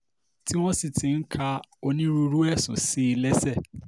tí wọ́n sì ti ń ka onírúurú ẹ̀sùn sí i lẹ́sẹ̀